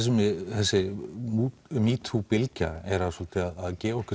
þessi metoo bylgja er svolítið að gefa okkur